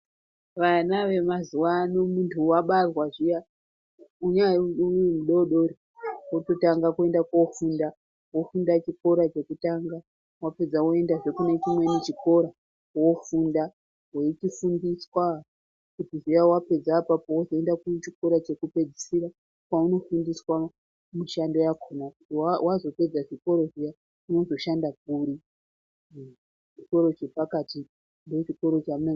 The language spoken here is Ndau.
Vana vemazuwa ano muntu wabarwa zviya unyari mudodori wototanga kuenda kofunda wofunda chikora chekutanga wapedza woendahe kune chimweni chikora wofunda weichisimbiswa zviya wapedza apapo wozoenda kuchikora chekupedzisira kwaunofundiswa mushando yakona kuti wazopedza chikoro zviya unozoshanda kuri, chikoro chepakati ndochikoro